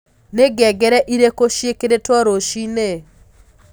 ni ngengere irĩku cĩĩkĩrĩtwo rũcĩĩnĩ